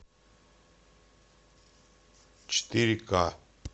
четыре ка